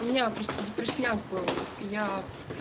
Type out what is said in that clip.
у меня просто депресняк был я